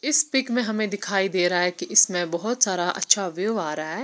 इस पीक मे हमे दिखाई दे रहा है की इसमे बहुत सारा अच्छा व्यू आ रहा है।